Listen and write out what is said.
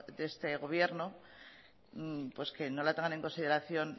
de este gobierno que no la tengan en consideración